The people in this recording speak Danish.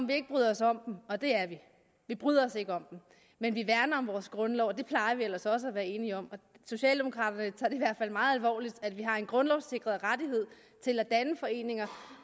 vi ikke bryder os om dem og det er vi vi bryder os ikke om dem men vi værner om vores grundlov og det plejer vi ellers også at være enige om socialdemokraterne tager det i hvert fald meget alvorligt at vi har en grundlovssikret rettighed til at danne foreninger